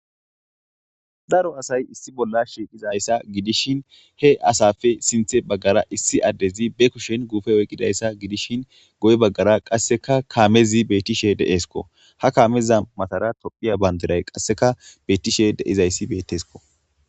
Daro asay issi bolla shiiqizayssa gidishin he asafe sinththe baggara issi addezi be kushen guufe oyqqidayssa gidishshin goye baggara qasseka kaamezi beththishe de7eeskko; ha kaameza mathara tophphiya banddiray qasseka beeththishe de7izayssi betteskko.